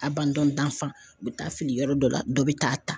A bandon dafa n bɛ taa fili yɔrɔ dɔ la dɔ bɛ taa ta.